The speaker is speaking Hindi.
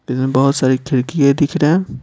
इसमें बहुत सारी खिड़कीयें दिख रहे हैं।